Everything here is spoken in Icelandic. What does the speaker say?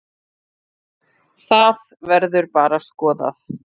Það verður bara skoðað.